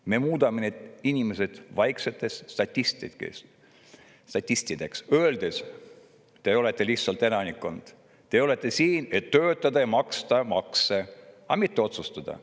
" Me muudame need inimesed vaikseteks statistideks, öeldes: "Te olete lihtsalt elanikkond, te olete siin, et töötada ja maksta makse, aga mitte otsustada.